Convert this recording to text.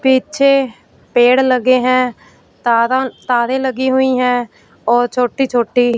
पीछे पेड़ लगे हैं तारन तारे लगी हुई हैं और छोटी छोटी--